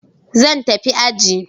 Zan tafi aji.